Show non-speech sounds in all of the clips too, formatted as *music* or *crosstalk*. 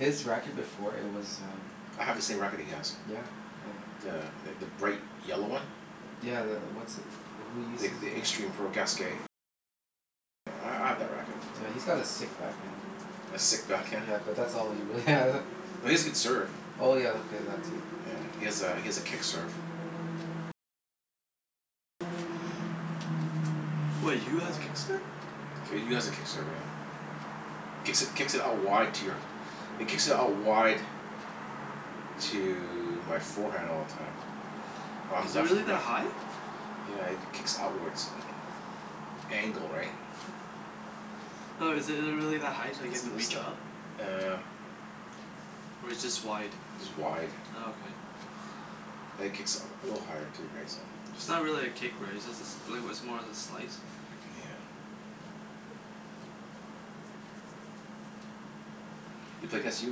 his racket before, it was um I have the same racket he has. Yeah, uh The th- the bright yellow one. Yeah, the, what's, who uses it again? Yeah, he's got a sick backhand. A sick backhand? Yeah, but that's all he really has. No, he has a good serve. Oh yeah, okay, that too. Yeah. He has a he has a kick serve. What, Yu has a kick serve? Yu has a kick serve, yeah. Mm. Kicks it kicks it out wide to your It kicks out wide to my forehand all the time. I'm Is it left really that left ha- high? Yeah, he kicks outwards *inaudible* angle, right? Hmm. No, is it it really that high, like you have to reach up? *inaudible* Uh Or it's just wide? Just wide. Oh, okay. And it kicks u- a little higher too, right? So It's not really a kick, right? It's just a sl- like, it was more of a slice. Yeah. You play against Yu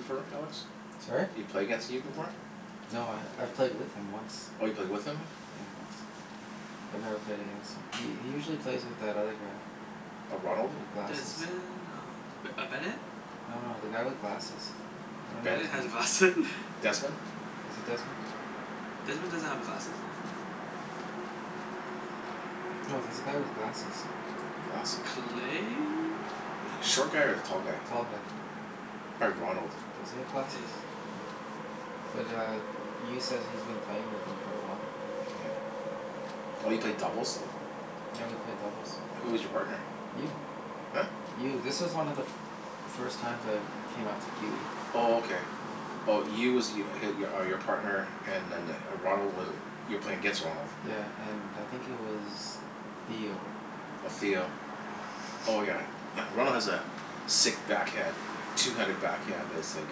before, right Alex? Sorry? You play against Yu before? No, I've played with him once. Oh, you played with him? Yeah, once. I've never played against him. He he usually plays with that other guy. A Ronald? W- with glasses. Desmond? Oh, B- uh Bennett? No no, the guy with glasses. I don't know Ben- Bennett his name. has glasse- *laughs* Desmond? Is it Desmond? Desmond doesn't have glasses though. No, there's a guy with glasses. Glasses? Clay? Short guy or the tall guy? Tall guy. Probably Ronald. Does he have Yeah yeah glasses? yeah. Yeah. Mm. But uh Yu says he's been playing with him for a while. Yeah. Oh, you played doubles w- Yeah, we played doubles. Who was your partner? Yu. Huh? Yu. This was one of the f- first times I came out to q e. Oh, okay. Mm. Oh, Yu was y- h- are your partner and then the Ronald was you were playing against Ronald? Yeah, and I think he was *noise* Theo. Oh, Theo. Yeah. Oh yeah. *noise* Ronald has a sick backhand. two-handed backhand that's like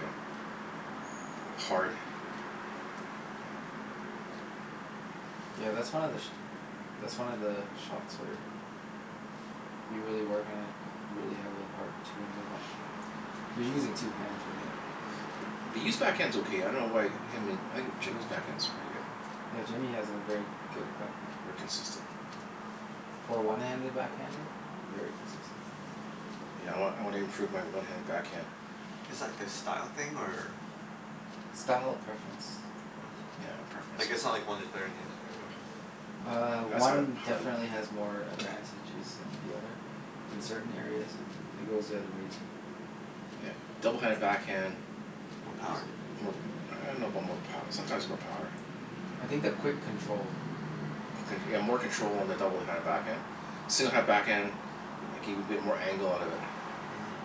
a like hard. *noise* Yeah, that's one of the sh- *noise* that's one of the shots where you really work on it you could really have a hard two-handed backhand. *noise* You're using two hands, right? Yeah. B- but Yu's backhand's okay. I dunno why I mean I think Jimmy's backhand's really good. Yeah, Jimmy has a very good backhand. Very *noise* consistent. For a one-handed backhander? Very consistent. Yeah, I wan- I wanna improve my one-handed backhand. Is that like a style thing or Style preference. Preference. Yeah. Yeah, preference, Like, yeah. it's not like one is better than the other or Uh, *noise* That's how I one how I definitely has more *noise* advantages than the other. In certain areas. And it goes the other way too. Yeah. Mm. double-handed backhand More is power? more I dunno about more pow- sometimes more power. I think the quick control. Con- yeah, more control on the double-handed Yeah. backhand. single-handed backhand, like you can get more angle out of it. Mhm.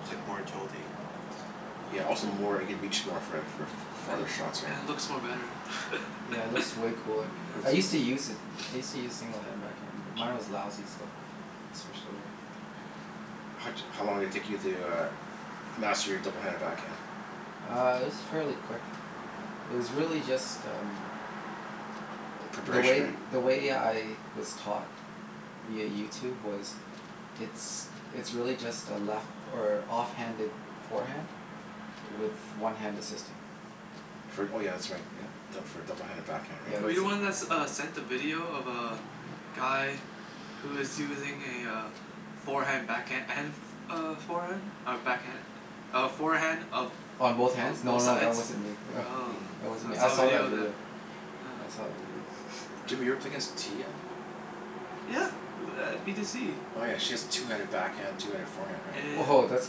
It's like more agility. Yeah, also more, you can reach more for for f- And farther shots, i- right? it looks more better. Yeah, it *laughs* looks way cooler. Yeah. *noise* I used to *inaudible* use it. I used to use Mm. single-handed backhand, *noise* but mine was lousy, so I switched over. How d- how long did it take you to uh master your double-handed backhand? Uh, it was fairly quick. Mm. It was really just um the Preparation, way right? the way I was taught via YouTube was it's it's really just a left or off-handed forehand *noise* with one hand assisting. Fr- oh yeah, that's right. Yeah, Yeah. d- for a double-handed backhand, Yeah, right? Were you that's the it, one that s- that's what uh it is. sent the video of uh guy who is using a uh forehand backhand and f- f- uh forehand? Or backhand? A forehand of On both b- hands? No both no, sides? that wasn't me. *laughs* Oh. Mm. That wasn't I me. I saw a saw that video of that. video. Yeah. I saw that video. *noise* Jimmy, you ever play Yeah. against Tia? Yeah, u- b- at b to c. Oh yeah, she has two-handed backhand, two-handed forehand, Yeah right? yeah Woah, that's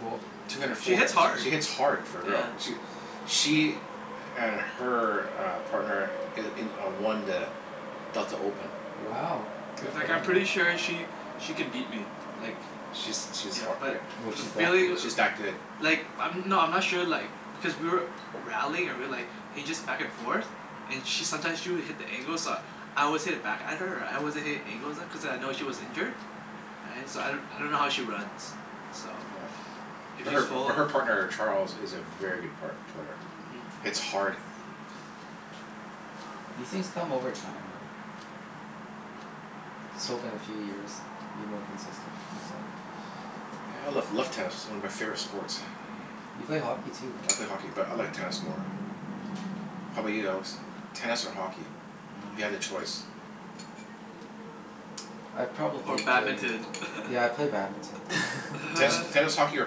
cool. Yeah. two-handed She foreha- hits hard. she hits hard for a girl. Yeah. She w- she and her uh partner i- in a won the Delta Open. Wow, Yeah. good Mhm. for Like I'm them, hey? pretty sure she she could beat me, like She's she's yeah, har- yeah. but Was the she that feeling good? w- She's that good. Like, I'm, no I'm not sure like because we were rallying or we like he just back and forth. And she sometimes she would hit the angles uh I always hit it back at her Right? I wasn't hitting angles at cuz I know she was injured. Right? So I d- I don't know how she runs. So Yeah. *noise* if But she's her but full her partner Charles is a very good part- player. Mm. Hits hard. Yeah. These things come over time, right? Just hope in a few years be more consistent, that's all. Yeah, I love love tennis. It's one of my favorite sports. Yeah. You play hockey too, right? I *noise* play hockey but I like tennis more. How 'bout you, Alex? *noise* Tennis or hockey? If you Oh. had a choice. I'd Or probably play badminton? *laughs* Yeah, I'd play badminton. Tennis Ten *laughs* tennis, *laughs* hockey, or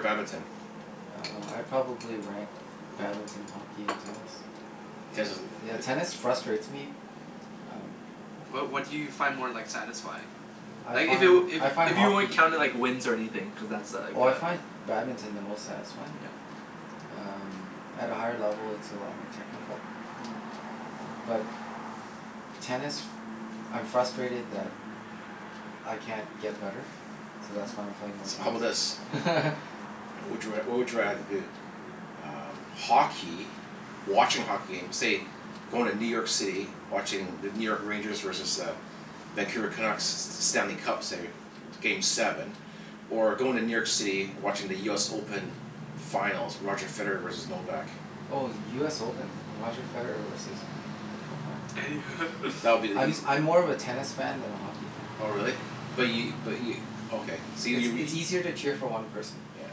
badminton? Uh, I'd probably rank badminton, hockey, and tennis. Tennis is l- i- Yeah, i- tennis frustrates me. Um Wha- what do you find more like satisfying? *noise* I Like if it find, w- I if find if you weren't hockey counting like wins or anything, cuz that's a like Oh a I find badminton the most satisfying. Yeah. *noise* Um, at a higher level it's a lot more technical. Mm. But tennis, I'm frustrated that I can't get better, so that's why I'm playing more So how tennis. bout Mm. this? *laughs* Mhm. What would you r- what would you rather do? Um, hockey watching hockey game, say going to New York City. Watching the New York Rangers versus the Vancouver Canucks, Stanley Cup, say, game seven. Or going to New York City, watching the US Open finals. Roger Federer versus Novak. Oh, US Open. Roger Federer versus Mm. Novak. That would be the eas- I'm *laughs* I'm more of a tennis fan than a hockey fan. Oh really? But Yeah. y- but y- okay. So y- It's you w- it's easier to cheer for one person. Yeah.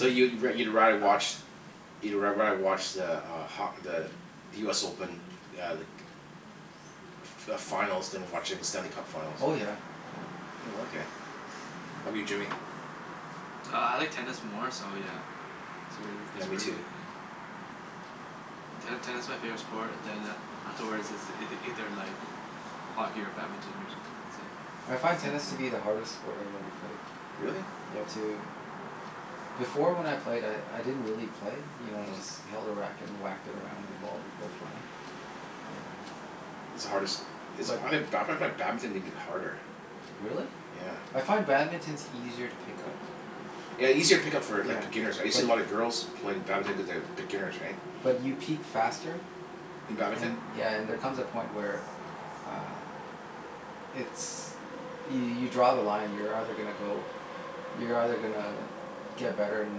So you wo- you'd rather watch you'd r- rather watch the uh ho- the the US Open uh like f- f- finals than watching the Stanley Cup finals? Oh yeah, yeah. Mm. Mm. Oh, okay. *noise* How 'bout Yeah. you Jimmy? Uh I like tennis more so yeah It's really, Yeah. Yeah, it's me really, too. yeah Ten- tennis my favorite sport, then a- afterwards is ei- either like hockey or badminton or something. That's it. I find tennis to be the hardest sport I've ever played. Really? Yeah, to Before when I played I I didn't really play. You know, I Mm. just held a racket and whacked it around and the ball would Mm. go flying. Um It's the hardest is But I ha- ba- I find badminton even harder. Really? Hmm. Yeah. I find badminton's easier to pick up. Yeah, easier to pick up for like Yeah, beginners, right? You see but a lot of girls playing badminton cuz they have beginners, right? But you peak faster In badminton? and, yeah, and there comes a Mm. point where uh it's, y- you draw the line. You're either gonna go, you're either gonna get better and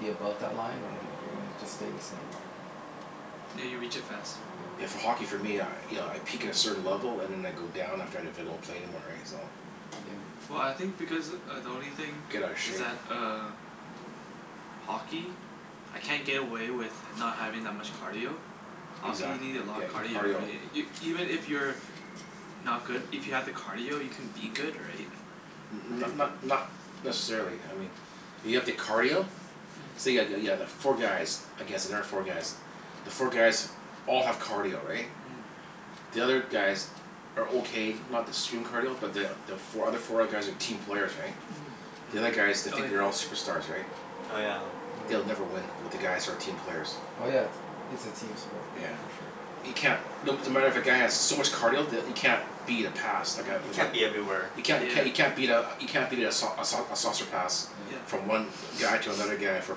be above that line or Mhm. you're gonna just stay the same. Hmm. Yeah, you reach it faster. Yeah, Yeah. for hockey for me, I you know I peak at a certain level and then I go down after if I don't play anymore, right? So Yeah. Well, I think because uh the only thing Get outta is shape. that uh hockey? I can't get away with h- not having that much cardio. Hockey, Exac- you need a lot yeah, of in cardio, *noise* cardio. right? I- Y- even if you're not good, if you have the cardio you can be good, right? N- Right? not *noise* not But *noise* not *noise* necessarily, I mean if you have the cardio say Mhm. yeah yeah yeah the four guys against another four guys. The four guys all have cardio, right? Mm. The other guys are okay. Not the stream cardio but the the fo- other four guys are team players, right? The other guys, Mm. they Mm. Oh, think they're yeah all yeah. superstars, right? Oh yeah. Yeah. They'll never win with the guys who are team Mm. players. Oh yeah, it's a team sport Yeah. Mm. for sure. You can't No no matter if a guy has so Yeah. much cardio that you can't beat a pass. Like a You like Mhm. a can't be everywhere. You can't c- Yeah. you can't beat a you can't beat a sau- a sau- a saucer pass. Yeah. Yeah. Mm. *noise* From one guy to another *noise* guy for a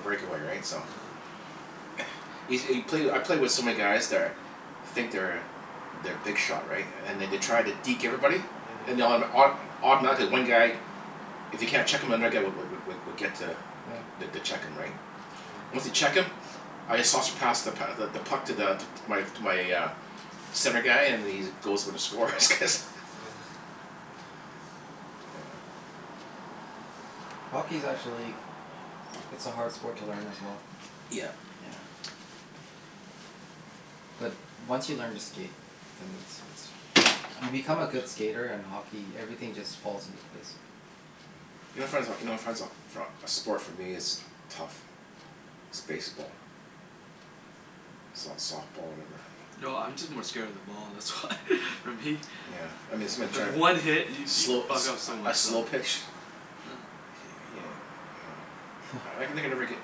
breakaway, right? So Yeah. *noise* Yo- you play I play with so many guys that are think they're they're big shot right? *noise* And they d- try to deke everybody? And Mhm. they autom- auto- automatically one guy if they can't check him another guy w- w- w- would get to Yeah. the to check him, right? Once they Myeah. check him I just saucer pass the p- th- the puck to the to my to my uh center guy and then he just goes for the score cuz Yeah. Yeah. Hockey's actually it's a hard sport to learn as well. Yeah. Hmm. Yeah. But once you learn to skate then it's it's you become a Woah. good skater and hockey, everything just falls into place. You know what I find so, you know what I find so for a a sport for me is tough is baseball. S- softball, whatever. No, I'm just more scared of the ball, that's why. *laughs* For me. Yeah, I mean *laughs* someone's Cuz trying to one hit, y- you could slow a fuck up so sl- a much stuff. slow pitch Yeah. he uh yeah. Yeah. I *laughs* can think I never get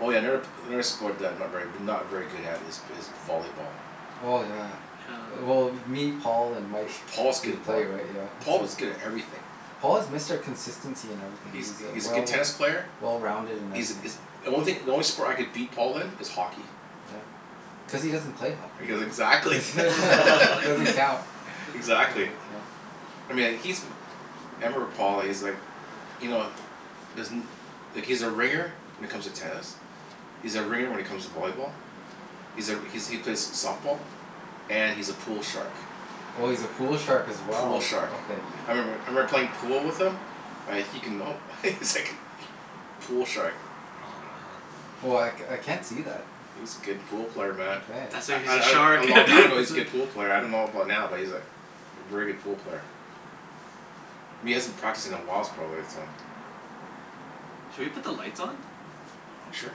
Oh yeah, never p- another sport that I'm not very not very good at is b- is volleyball. Oh, yeah. Yeah. Well me, Paul, and Mike. If Paul's good We at play, voll- right? Yeah, Paul so was good at everything. Paul is Mr. Consistency in everything. He's He's uh he's a good well tennis player. well-rounded in He's everything. is The only thing, the only sport I could beat Paul in is hockey. Yeah. Cuz he doesn't play hockey. Cuz exactly. *laughs* *laughs* Doesn't *laughs* count. Exactly. *laughs* Doesn't count. I mean, like he's m- I remember Paul. He's like you know doesn't like he's a ringer when it comes to tennis. He's a ringer when it comes to volleyball. He's a r- he's he plays softball. And he's a pool shark. Oh, he's a pool shark as Pool well? shark. Okay. I remember I Mhm. remember playing pool with him like he can, no, he's Mm. like pool shark. Oh, Hmm man. Oh, I c- I can't see that. He's a good hmm. pool player, man. Mkay. That's why I he's a I d- a shark. *laughs* long That's time ago he's a why good pool player. I dunno about *laughs* now but he's like a very good pool player. But he hasn't practiced in a whiles probably so Hmm. Should we put the lights on? Sure.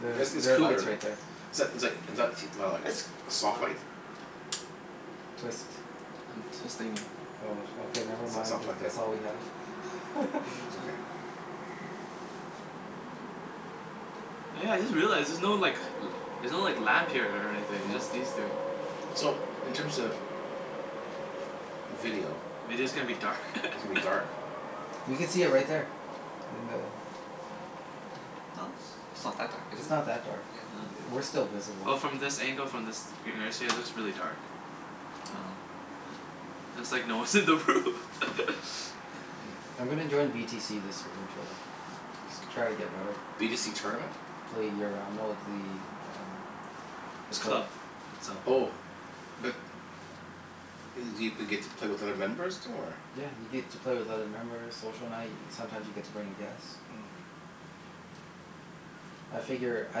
There's It's it's there are lights cooler. right there. Is that is like is that t- wow like It's soft light? cooler. Twist. I'm twisting it. Oh, sh- okay, never It's it's mind, not if plugged in. that's all we have. *laughs* It's Mhm. okay. Oh yeah, I just realized, there's no like l- there's no like lamp here or anything. Yeah. It's just these two. So, in *noise* terms Hmm. of video Video's gonna be Mhm. dark. *laughs* it's gonna be dark. You could see it *noise* right there. In the Yeah. No, it's it's not that dark, is It's it? not that dark Yeah. Yeah. I- we're still Well, visible. from this angle, from this *inaudible* it looks really dark. Oh. Yeah. It's like no one's in the room. *laughs* Yeah. Hmm. I'm gonna join v t c this winter though. Try to get better. B to c tournament? Play year round, no the uh the It's a club. club. It's all Oh. But i- do you get to play with other members too, or Yeah, you get to play with other members. Social night. Sometimes you get to bring a guest. Mm. I figure I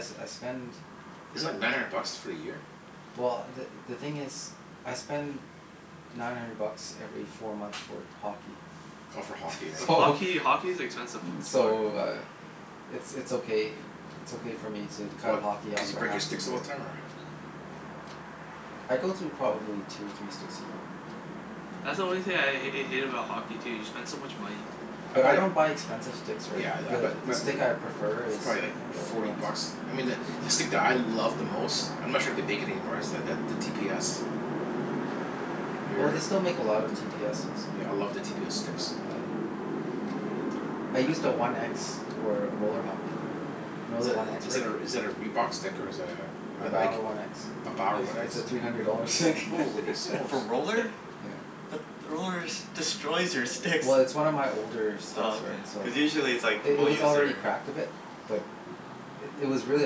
s- I spend Is it like nine hundred bucks for a year? well, the the thing is I spend nine hundred bucks every four months for hockey. Oh, for hockey, For right? So hockey? Hockey's expensive f- sport. so uh it's it's okay, it's okay for me to cut What? hockey off Cuz you for break half your a sticks all year. the time or Oh. I go through probably two or three sticks a year. That's the only thing Mm. I h- hate about hockey, too. You spend so much money. I But buy I don't buy expensive sticks, right? Yeah, I I buy The the m- th- stick I b- prefer it's is probably like one of the older forty ones. bucks. I mean the the stick *noise* that I love the most I'm not sure if they make it anymore is the the t p s. Have you ever Oh, hear- they still make a lot of t p s's. Yeah, I love the t p s sticks. Yeah, I I used a one x for a roller hockey. You know Is the that one x, is Rick? that a is that a Reebok stick, or is that a a The Nike? Bower one x? A Bower What? one x? It's a three hundred dollar stick. *laughs* Holy smokes. For roller? Yeah. But the rollers destroys your sticks. Well, it's one of my older s- sticks Oh, right, okay. so Cuz Yeah. usually it's like I- it people was use already their cracked a bit. But it was really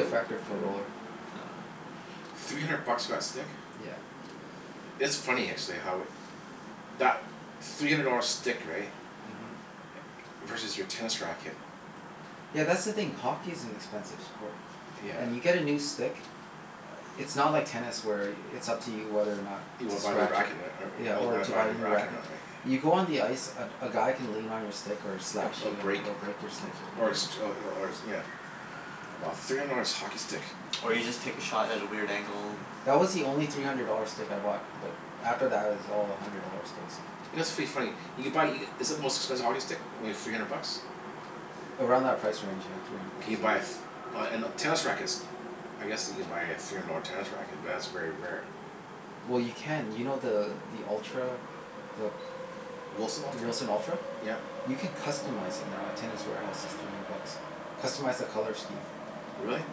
effective for a roller. Oh. Three hundred bucks for that stick? Yeah. It's funny actually how it that three hundred dollar stick, right? Mhm. Versus your tennis racket. Yeah, that's the thing. Hockey is an expensive sport. And Yeah. you get a new stick it's not like tennis where it's up to you whether or not You to wanna buy a new scratch it. racket and er- Yeah, when you or wanna to buy buy a a new new racket or racket. not, right? You go on the ice, a g- a guy can lean on your stick or Yeah, slash a b- you and break it'll break your Oh, stick. is it? or a six Yeah. oh Mhm. y- or it's nyeah. Wow. Three hundred dollars hockey stick. *noise* Or you just take a shot at a weird angle. That was the only three hundred dollar stick I bought. But after that it was all a hundred dollar sticks. You know, it's pretty funny you can buy e- Is it the most expensive hockey stick? Maybe three hundred bucks? Around that price range, yeah. Three hundred Can bucks. you buy a f- Oh, and uh, tennis rackets. I guess you can buy a three hundred dollar tennis racket, but that's very rare. Well, Yeah. you can. You know the the Ultra the W- Wilson the Ultra? Wilson Ultra? Yep. You can customize it now at Tennis Warehouse. It's three hundred bucks. Customize the color scheme. Really?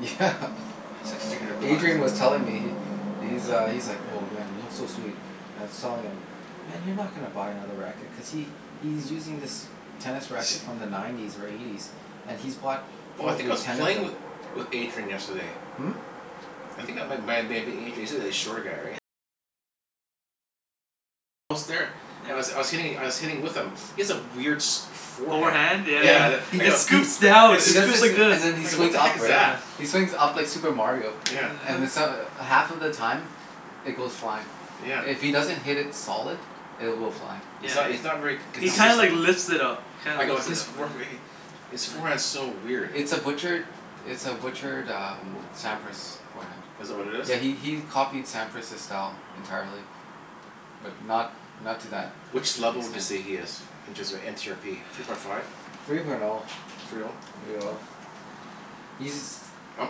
Yeah. If you're gonna Adrian was buy *noise* telling me, he he's uh, he's like, *laughs* "Oh man, it looks so sweet." And I was telling him, "Man, you're not gonna buy another racket." Cuz he he's using this tennis He racket sh- from the nineties or eighties. And he's bought Oh, I think I probably was ten of playing them. with with Adrian yesterday. Hmm? You c- And I was I Yeah. was hitting I was hitting with him. He has a weird sh- forehand. Forehand? Yeah yeah Yeah, Yeah, the yeah. he I It go he he scoops down. It he It does scoops scoops this, like this. and then he I go, "What swings the up, heck is right? that?" Yeah. He *laughs* swings up like Super Mario. Yeah. And then *laughs* so- half of the time it goes flying. Yeah. If he Yeah. doesn't hit it solid, it will fly. He's Yeah, not, it he's not very It's He not consistent. kinda like *inaudible* lifts it up. He I kinda go a lifts it his up, for- yeah. fee His forehand's Yeah. so weird. It's a butchered it's a butchered um Sampras forehand. Is that what it is? Yeah, he he he copied Sampras's style entirely. But not not to that Which level would you extent. say he is? Inches are n c r p Three point five? Three point oh. Three oh? Three oh. He's *noise* I'm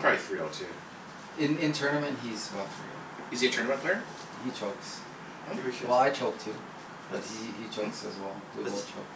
probably three oh too. In in tournament he's about three oh. Is he a tournament player? He chokes. Hmm? Think we should Well, I choke too. But Let's he he Hmm? chokes as well. We both let's cho-